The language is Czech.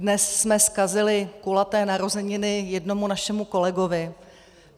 Dnes jsme zkazili kulaté narozeniny jednomu našemu kolegovi.